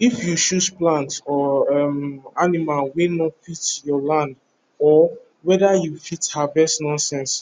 if you choose plant or um animal wey no fit your land or weather you fit harvest nonsense